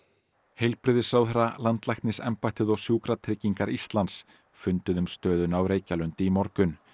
heilbrigðisráðherra landlæknisembættið og Sjúkratryggingar Íslands funduðu um stöðuna á Reykjalundi í morgun